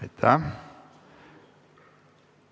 Aitäh!